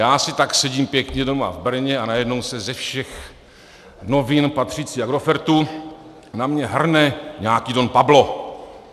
Já si tak sedím pěkně doma v Brně a najednou se ze všech novin patřících Agrofertu na mě hrne nějaký Don Pablo.